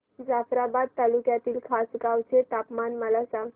जाफ्राबाद तालुक्यातील खासगांव चे तापमान मला सांग